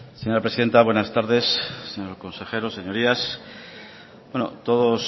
señora presidenta buenas tardes señores consejeros señorías bueno todos